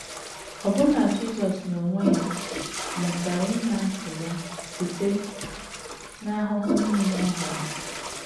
Ọbụna Jisọs n’onwe ya “ mụtara ịṅa ntị Ya site n’ahụhụ nile Ọ hụrụ. ”